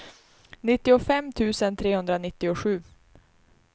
nittiofem tusen trehundranittiosju